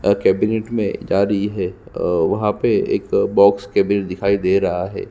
और कैबिनेट में जारी है और वहाँ पे एक बॉक्स कैबिनेट दिखाई दे रहा है।